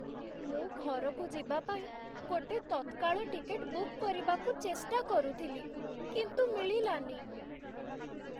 ମୁଁ ଘରକୁ ଯିବା ପାଇଁ ଗୋଟେ ତତ୍କାଳ ଟିକେଟ୍ ବୁକ୍ କରିବାକୁ ଚେଷ୍ଟା କରୁଥିଲି, କିନ୍ତୁ ମିଳିଲାନି ।